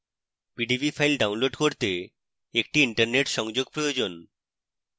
pdb file download করতে একটি internet সংযোগ প্রয়োজন